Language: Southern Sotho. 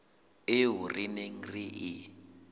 eo re neng re e